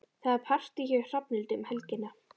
Það er partí hjá Hrafnhildi um helgina.